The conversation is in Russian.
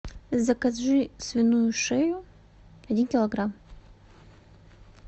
закажи свиную шею один килограмм